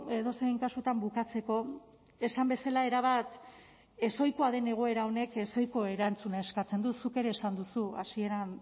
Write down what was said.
edozein kasutan bukatzeko esan bezala erabat ezohikoa den egoera honek ezohiko erantzuna eskatzen du zuk ere esan duzu hasieran